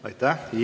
Aitäh!